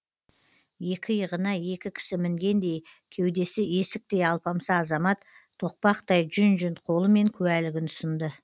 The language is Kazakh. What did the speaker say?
екі иығына екі кісі мінгендей кеудесі есіктей алпамса азамат тоқпақтай жүн жүн қолымен куәлігін ұсынды